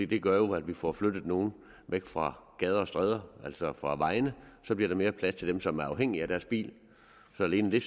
det gør jo at vi får flyttet nogle væk fra gader og stræder altså fra vejene så bliver der mere plads til dem som er afhængige af deres bil så alene det